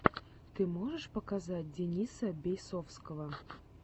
ты можешь показать дениса бейсовского